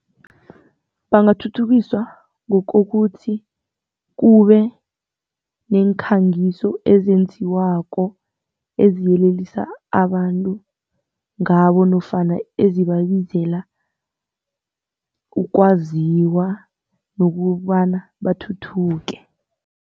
Bangathuthukiswa ngokuthi kube neekhangiso ezenziwako eziyelelisa abantu ngabo nofana ezibabizela ukwaziwa nokobana bathuthuke.